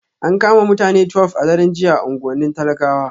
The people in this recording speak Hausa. An kama mutane 12 a daren jiya a unguwannin talakawa